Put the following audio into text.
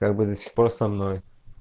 как бы до сих пор со мной